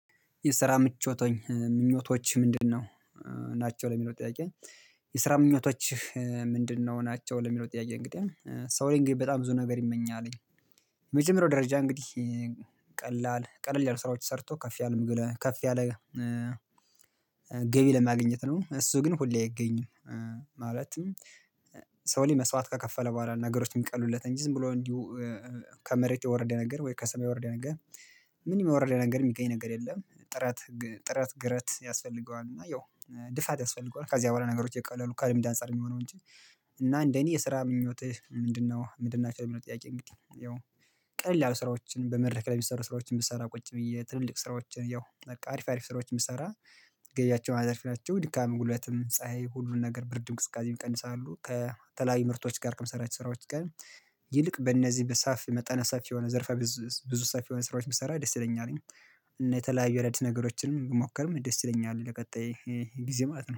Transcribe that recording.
የስራ ምቾት ምኞቶች ምንድነው? ናቸው ለሚለው ጥያቄ? የስራ ምኞቶች ምንድነው ናቸው ለሚለው ጥያቄ እንግዲህ ሰው ላይ እንግዲህ በጣም ብዙ ነገር ይመኛልኝ። የመጀመሪያው ደረጃ እንግዲህ ቀላል ቀለል ያለ ስራዎች ሰርቶ ከፍ ያለ ከፍ ያለ ገቢ ለማግኘት ነው እሱ ግን ሁሌ አይገኝም። ማለትም ሰው ላይ መስዋት ከከፈለ በኋላ ነገሮችን የሚቀሉለት እንጂ ዝም ብሎ እንዲሁ ከመሬት የወረደ ነገር ወይ ከሰማይ የወረደ ነገር ምንም የሚወረደ ነገር የሚገኝ ነገር የለም። ጥራት ጥረት ግረት ያስፈልገዋል እና ያው ልፋት ያስፈልገዋል ከዚያ በኋላ ነገሮች እይቀለሉ ከልምድ አንፃር የሚሆነው እንጂ። እና እንደኔ የስራ ምኞትህ ምንድነው? ምንድን ናቸው የሚለው ጥያቄ? እንግዲህ ያው ቀላል ስራዎችን በመድረክ ላይ የሚሰሩ ስራዎችን ብሰራ ቁጭ ብዬ ትልልቅ ስራዎችን ያው በቃ አሪፍ አሪፍ ስራዎችን ብሰራ። ገቢያቸው አዘርፍናቸው ድካም ጉልበትም ፀሀይ ሁሉን ነገር ብርድ እንቅስቃሴ ይቀንሳሉ ከተላያዩ ምርቶች ጋር ከምሰራቸው ስራዎች ጋር ይልቅ በእነዚህ በሰፊ መጠነ ሰፊ የሆነ ዘርፋ ብዙ ሰፊ የሆነ ስራዎች ብሰራ ደስ ይለኛል። እና የተለያዩ አዳዲስ ነገሮችንም ብሞከርም ደስ ይለኛል ለቀጣይ ጊዜ ማለት ነው